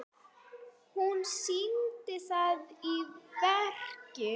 Hún sýndi það í verki.